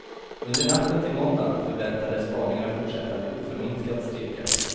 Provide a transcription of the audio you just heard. Under natten till måndagen förväntades spaningarna fortsätta med oförminskad stryka.